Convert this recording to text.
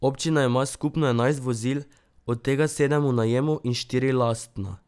Občina ima skupno enajst vozil, od tega sedem v najemu in štiri lastna.